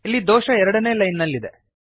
ಇಲ್ಲಿ ದೋಷ 2ನೇ ಲೈನ್ ನಲ್ಲಿ ಇದೆ